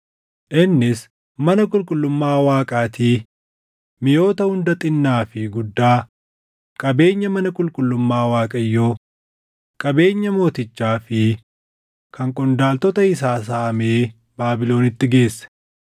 Innis mana qulqullummaa Waaqaatii miʼoota hunda xinnaa fi guddaa, qabeenya mana qulqullummaa Waaqayyoo, qabeenya mootichaa fi kan qondaaltota isaa saamee Baabilonitti geesse.